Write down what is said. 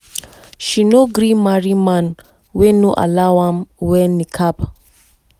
like how muslim females dey dress na im make her dey wear niqab and no be her husband tell am make she wear am becos